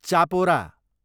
Chapora